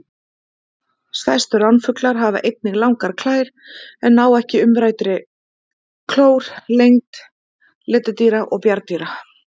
Stærstu ránfuglar hafa einnig langar klær en ná ekki umræddri klór lengd letidýra og bjarndýra.